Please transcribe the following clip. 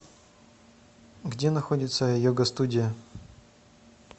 где находится йога студия